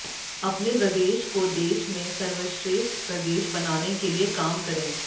अपने प्रदेश को देश में सर्वश्रेष्ठ प्रदेश बनाने के लिये काम करें